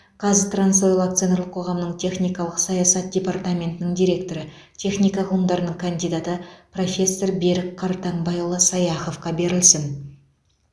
қазтрансойл акционерлік қоғамының техникалық саясат департаментінің директоры техника ғылымдарының кандидаты профессор берік қартаңбайұлы саяховқа берілсін